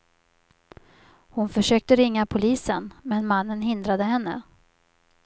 Hon försökte ringa polisen, men mannen hindrade henne.